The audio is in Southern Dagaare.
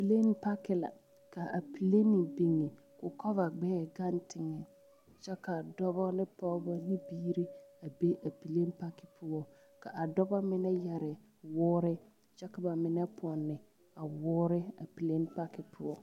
Pileni paki la k,a pileni biŋe k,o kɔva gbɛɛ gaŋ teŋɛ kyɛ ka dɔba ne pɔgeba ne biiri a be a pileni paki poɔ k,a dɔba mine yɛre woore kyɛ ka ba mine pɔnne a woore a pileni paki poɔ.